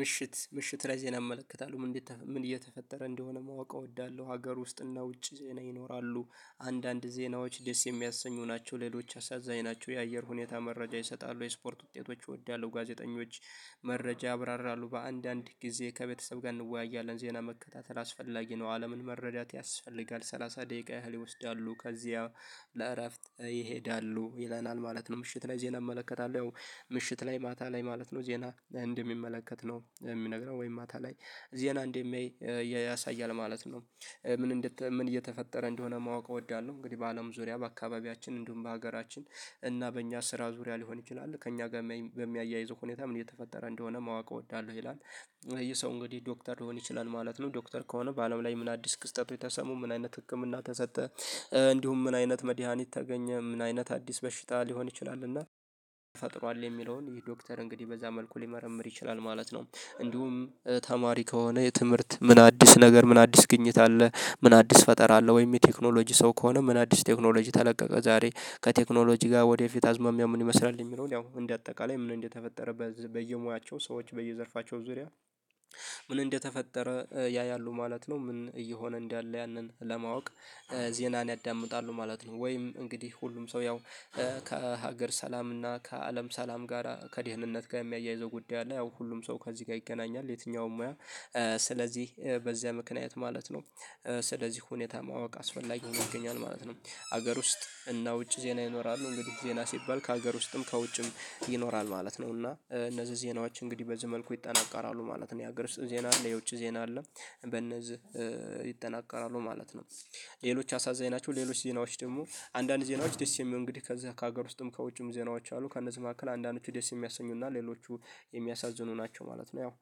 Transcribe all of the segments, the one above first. ምሽት ምሽት ዜናን አመለክታለሁ ምን እየተፈጠረ እንደሆነ ማወቅ እወዳለሁ፤ ሀገር ውስጥና ውጪ ዜና ይኖራሉ አንዳንድ ዜናዎች ደስ የሚያሰኙ ናቸው ሌሎች አሳዛኝ ናቸው የአየር ሁኔታ መረጃ ይሰጣሉ የስፖርት ውጤቶች እወዳለሁ ጋዜጠኞች መረጃ አብራራሉ በአንዳንድ ጊዜ ከቤተሰብ ጋር እንወያያለን ዜና መከታተል አስፈላጊ ነው አለምን መረዳት ያስፈልጋል ሰላሳ ደቂቃ ያህል ይወስዳሉ ከዚያ ለእረፍት ይሄዳሉ ይለናል ማለት ነው ምሽት ላይ ዜና እመለከታለሁ ያው ምሽት ላይ ማታ ላይ ማለት ነው ዜና እንደሚመለከት ነው የሚነግረው ወይም ማታ ላይ ዜና እንዴ ያሳያል ማለት ነው ምን እንደተ ምን እየተፈጠረ እንደሆነ ማወቅ እወዳለሁ እንግዲህ በአለም ዙሪያ በአካባቢያችን እንዲሁም በሀገራችን እና በእኛ ስራ ዙሪያ ሊሆን ይችላል ከእኛ ጋር በሚያያይዘው ሁኔታም እየተፈጠረ እንደሆነ ማወቅ እወዳለሁ ይላል ይሄ ሰው እንግዲህ ዶክተር ሊሆን ይችላል ማለት ነው ዶክተር ከሆነ በአለም ላይ ምን አዲስ ክስተቱ የተሰሙ ምን አይነት ህክምና ተሰጠ እንዲሁም ምን አይነት መድሃኒት ተገኘ ምን አይነት አዲስ በሽታ ሊሆን ይችላል እና ፈጥሯል የሚለውን ይሄ ዶክተር እንግዲህ በዛ መልኩ ሊመረምር ይችላል ማለት ነው እንዲሁም ተማሪ ከሆነ የትምህርት ምን አዲስ ነገር ምን አዲስ ግኝት አለ ምን አዲስ ፈጠር አለ ወይም የቴክኖሎጂ ሰው ከሆነ ምን አዲስ ቴክኖሎጂ ተለቀቀ ዛሬ ከቴክኖሎጂ ጋር ወደፊት አዝማሚያ ምን ይመስላል የሚለውን ያው እንደ አጠቃላይ ምን እንደተፈጠረ በየሙያቸው ሰዎች በየዘርፋቸው ዙሪያ ምን እንደተፈጠረ ያያሉ ማለት ነው፤ ምን እየሆነ እንዳለ ያንን ለማወቅ ዜናን ያዳምጣሉ ማለት ነው ወይም እንግዲህ ሁሉም ሰው ያው ከሀገር ሰላምና ከአለም ሰላም ጋር ከድህነት ጋር የሚያያይዘው ጉዳይ አለ ያው ሁሉም ሰው ከዚህ ጋር ይገናኛል የትኛውም ሙያ ስለዚህ በዚያ ምክንያት ማለት ነው ስለዚህ ሁኔታ ማወቅ አስፈላጊ ይሆናል ማለት ነው ሀገር ውስጥ እና ውጭ ዜና ይኖራሉ እንግዲህ ዜና ሲባል ከሀገር ውስጥም ከውጭም ይኖራል ማለት ነው እና እነዚህ ዜናዎች እንግዲህ በዚህ መልኩ ይጠቀራሉ ማለት ነው የሀገር ዜና አለ የውጭ ዜና አለ በነዚህ ይጠናቀቃሉ ማለት ነው ሌሎች አሳዛኝ ናቸው ሌሎች ዜናዎች ደግሞ አንዳንድ ዜናዎች ደስ የሚሉ እንግዲህ ከዛ ከሀገር ውስጥም ከውጭም ዜናዎች አሉ ከእነዚህ መካከል አንዳንዶቹ ደስ የሚያሰኙና ሌሎቹ የሚያሳዝኑ ናቸው ማለት ነው ያው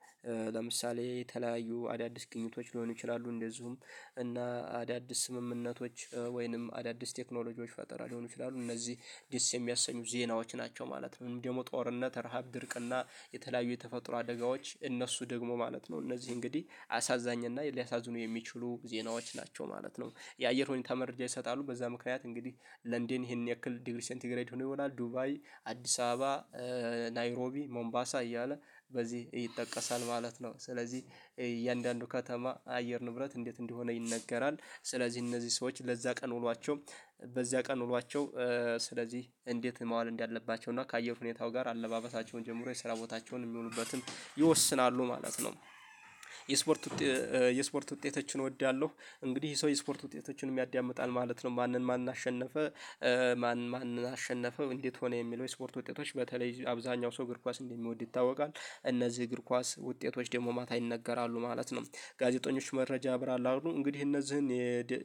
ለምሳሌ የተለያዩ አዳዲስ ግኝቶች ሊሆኑ ይችላሉ እንደዚሁም እና አዳዲስ ስምምነቶች ወይንም አዳዲስ ቴክኖሎጂዎች ፈጠራ ሊሆኑ ይችላሉ እነዚህ ዲስ የሚያሰኙ ዜናዎች ናቸው ማለት ነው ደግሞ ጦርነት ረሃብ ድርቅና የተለያዩ የተፈጥሮ አደጋዎች እነሱ ደግሞ ማለት ነው እነዚህ እንግዲህ አሳዛኝ እና ሊያሳዝኑ የሚችሉ ዜናዎች ናቸው ማለት ነው፤ የአየር ሁኔታ መረጃ ይሰጣሉ በዛ ምክንያት እንግዲህ ለንደን ይሄን ያክል ዲግሪ ሴንቲግሬድ ሆኖ ይሆናል ዱባይ አዲስ አበባ ናይሮቢ ሞምባሳ እያለ በዚህ ይጠቀሳል ማለት ነው ስለዚህ የእያንዳንዱ ከተማ አየር ንብረት እንዴት እንደሆነ ይነገራል ስለዚህ እነዚህ ሰዎች ለዛ ቀን ውሏቸው በዚያ ቀን ውሏቸው ስለዚህ እንዴት መዋል እንዳለባቸው እና ከአየር ሁኔታው ጋር አለባበሳቸውን ጀምሮ የስራ ቦታቸውን የሚውሉበትን ይወስናሉ ማለት ነው። የስፖርት የስፖርት ውጤቶችን እወዳለሁ እንግዲህ ሰው የስፖርት ውጤቶችን ያዳምጣል ማለት ነው ማንን ማን አሸነፈ ማን ማን አሸነፈ እንዴት ሆነ የሚለው የስፖርት ውጤቶች በተለይ አብዛኛው ሰው እግር ኳስ እንደሚወድ ይታወቃል እነዚህ እግር ኳስ ውጤቶች ደግሞ ማታ ይነገራሉ ማለት ነው ጋዜጠኞች መረጃ ያብራራሉ እንግዲህ እነዚህን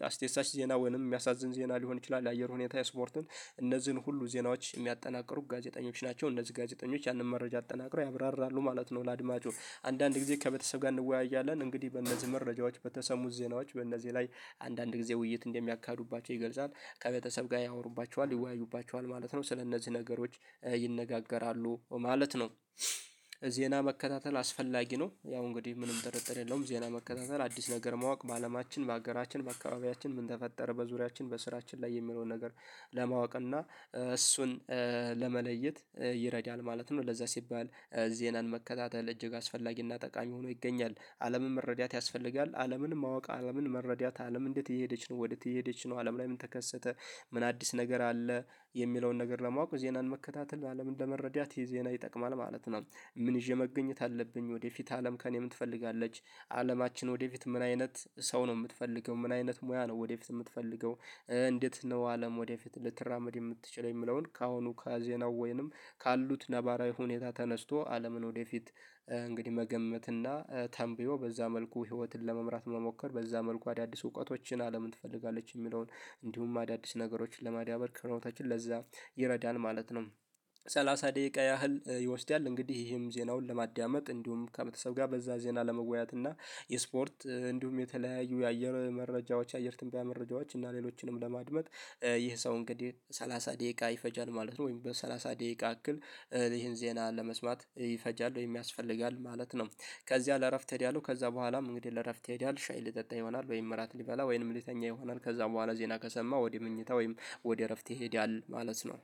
አስደሳች ዜና ወይንም የሚያሳዝን ዜና ሊሆን ይችላል የአየር ሁኔታ የስፖርትን እነዚህን ሁሉ ዜናዎች የሚያጠናቅሩ ጋዜጠኞች ናቸው እነዚህ ጋዜጠኞች ያንን መረጃ አጠናቅረው ያብራራሉ ማለት ነው ለአድማጩ አንዳንድ ጊዜ ከቤተሰብ ጋር እንወያያለን እንግዲህ በእነዚህ መረጃዎች በተሰሙት ዜናዎች በእነዚህ ላይ አንዳንድ ጊዜ ውይይት እንደሚያካዱባቸው ይገልጻል ከቤተሰብ ጋር ያወሩባቸዋል ይወያዩባቸዋል ማለት ነው ስለእነዚህ ነገሮች ይነጋገራሉ ማለት ነው፤ ዜና መከታተል አስፈላጊ ነው ያው እንግዲህ ምንም ጥርጥር የለውም ዜና መከታተል አዲስ ነገር ማወቅ በአለማችን በአገራችን በአካባቢያችን ምን ተፈጠረ በዙሪያችን በስራችን ላይ የሚለውን ነገር ለማወቅ እና እሱን ለመለየት ይረዳል ማለት ነው ለዛ ሲባል ዜናን መከታተል እጅግ አስፈላጊና ጠቃሚ ሆኖ ይገኛል አለምን መረዳት ያስፈልጋል አለምን ማወቅ አለምን መረዳት አለም እንዴት እየሄደች ነው ወዴት እየሄደች ነው አለም ላይ ምን ተከሰተ ምን አዲስ ነገር አለ የሚለውን ነገር ለማወቅ ዜናን መከታተል አለም እንደመረዳት የዜና ይጠቅማል ማለት ነው ምን ይዤ መገኘት አለብኝ ወደፊት አለም ከእኔ ምን ትፈልጋለች አለማችን ወደፊት ምን አይነት ሰው ነው የምትፈልገው ምን አይነት ሙያ ነው ወደፊት የምትፈልገው እንዴት ነው አለም ወደፊት ልትራመድ የምትችለው የሚለውን ከአሁኑ ከዜናው ወይንም ካሉት ነባራዊ ሁኔታ ተነስቶ አለምን ወደፊት እንግዲህ መገመት እና ተንብዮ በዛ መልኩ ህይወትን ለመምራት መሞከር በዛ መልኩ አዳዲስ እውቀቶችን አለምን ትፈልጋለች የሚለውን እንዲሁም አዳዲስ ነገሮችን ለማዳበር ቅርበታችን ለዛ ይረዳን ማለት ነው ሰላሳ ደቂቃ ያህል ይወስዳል እንግዲህ ይሄም ዜናውን ለማዳመጥ እንዲሁም ከበተሰብ ጋር በዛ ዜና ለመወያየት እና የስፖርት እንዲሁም የተለያዩ የአየር መረጃዎች የአየር ትንቢያ መረጃዎች እና ሌሎችንም ለማድመጥ ይህ ሰው እንግዲህ ሰላሳ ደቂቃ ይፈጃል ማለት ነው ወይም በሰላሳ ደቂቃ አክል ይሄን ዜና ለመስማት ይፈጃል ወይም ያስፈልጋል ማለት ነው ከዚያ ለእረፍት እሄዳለሁ ከዛ በኋላም እንግዲህ ለእረፍት ሄድ ያለው ሻይ ልጠጣ ይሆናል ወይም ምራት ልበላ ወይም ልተኛ ይሆናል ከዛ በኋላ ዜና ከሰማ ወደ መኝታ ወይም ወደ እረፍት ይሄዳል ማለት ነው